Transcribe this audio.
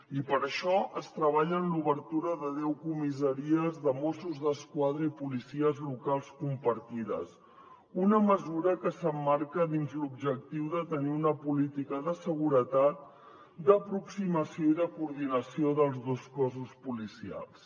i per això es treballa en l’obertura de deu comissaries de mossos d’esquadra i policies locals compartides una mesura que s’emmarca dins l’objectiu de tenir una política de seguretat d’aproximació i de coordinació dels dos cossos policials